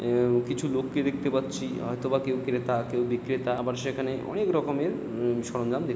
উউম কিছু লোককে দেখতে পাচ্ছি হয়তোবা কেউ ক্রেতা কেউ বিক্রেতা আবার সেখানে অনেক রকমের উ-উ সরঞ্জম দে--